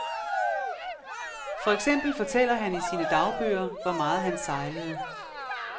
For eksempel fortæller han i sine dagbøger, hvor meget han sejlede.